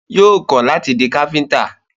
Yóò kọ́ láti di Káfíntà